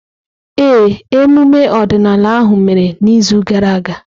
Ee, emume ọdịnala ahụ mere n’izu gara aga.